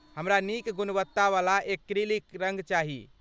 हमरा नीक गुणवत्तावला एक्रिलिक रङ्ग चाही।